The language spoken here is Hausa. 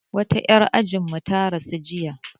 Wata 'yar ajin mu ta rasu jiya